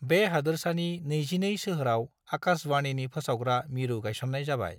बे हादोरसानि 22 सोहोराव आकाशवाणीनि फोसावग्रा मिरु गायसननाय जाबाय।